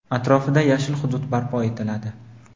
atrofida yashil hudud barpo etiladi.